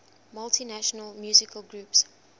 multinational musical groups